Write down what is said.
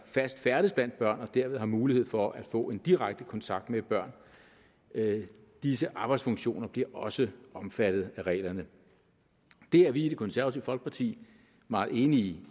fast færdes blandt børn og derved har mulighed for at få en direkte kontakt med børn disse arbejdsfunktioner bliver også omfattet af reglerne det er vi i det konservative folkeparti meget enige